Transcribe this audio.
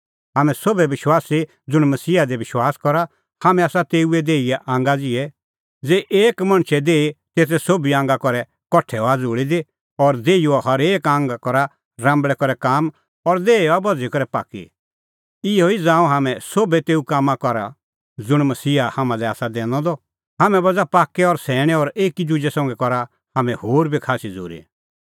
हाम्हैं सोभै विश्वासी ज़ुंण मसीहा दी विश्वास करा हाम्हैं आसा तेऊए देहीए आंगा ज़िहै ज़ेही एक मणछे देही तेते सोभी आंगा करै कठा हआ ज़ुल़ी दी और देहीओ हरेक आंग करा राम्बल़ै करै काम और देही हआ बझ़ी करै पाक्की इहअ ई ज़ांऊं हाम्हैं सोभै तेऊ कामां करा ज़ुंण मसीहा हाम्हां लै आसा दैनअ द हाम्हैं बझ़ा पाक्कै और सैणैं और एकी दुजै संघै करा हाम्हैं होर बी खास्सी झ़ूरी